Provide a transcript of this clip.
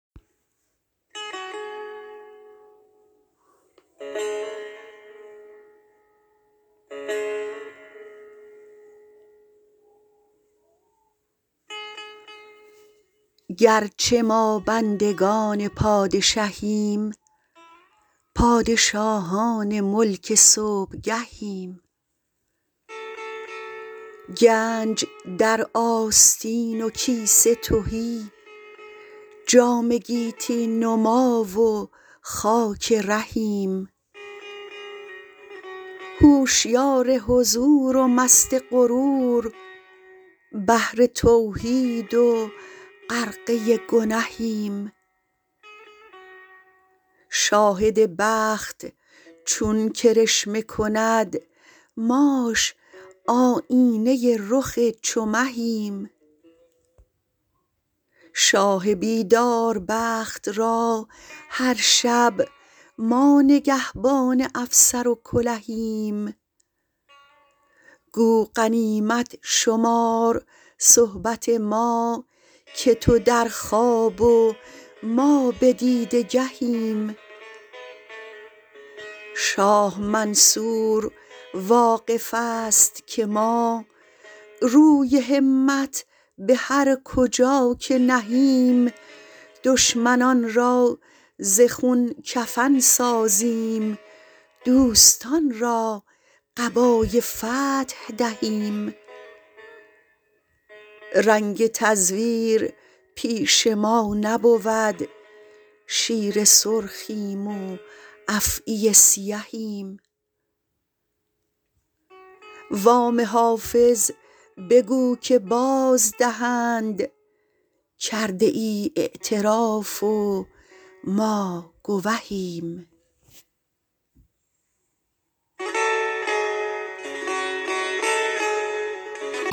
گرچه ما بندگان پادشهیم پادشاهان ملک صبحگهیم گنج در آستین و کیسه تهی جام گیتی نما و خاک رهیم هوشیار حضور و مست غرور بحر توحید و غرقه گنهیم شاهد بخت چون کرشمه کند ماش آیینه رخ چو مهیم شاه بیدار بخت را هر شب ما نگهبان افسر و کلهیم گو غنیمت شمار صحبت ما که تو در خواب و ما به دیده گهیم شاه منصور واقف است که ما روی همت به هر کجا که نهیم دشمنان را ز خون کفن سازیم دوستان را قبای فتح دهیم رنگ تزویر پیش ما نبود شیر سرخیم و افعی سیهیم وام حافظ بگو که بازدهند کرده ای اعتراف و ما گوهیم